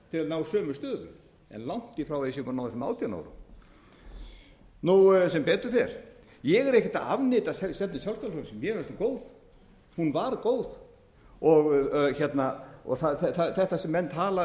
ná sömu stöðu en langt í frá að þeir séu búnir átján árum sem betur fer ég er ekkert að afneita stefnu sjálfstæðisflokksins mér finnst hún góð hún var góð og þetta sem menn tala